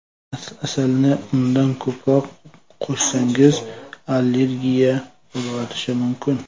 Asalni undan ko‘proq qo‘shsangiz allergiya qo‘zg‘atishi mumkin.